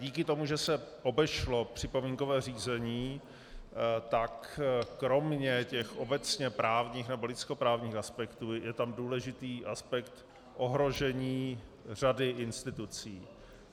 Díky tomu, že se obešlo připomínkové řízení, tak kromě těch obecně právních nebo lidskoprávních aspektů je tam důležitý aspekt ohrožení řady institucí.